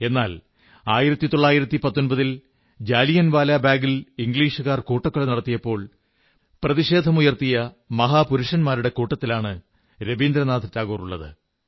എന്നാൽ 1919 ൽ ജാലിയൻവാലാ ബാഗിൽ ഇംഗ്ലീഷുകാർ കൂട്ടക്കൊല നടത്തിയപ്പോൾ പ്രതിഷേധമുയർത്തിയ മഹാപുരുഷന്മാരുടെ കൂട്ടത്തിലാണ് രവീന്ദ്രനാഥ ടാഗോറുള്ളത്